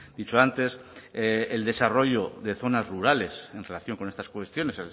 dicho antes el desarrollo de zonas rurales en relación con estas cuestiones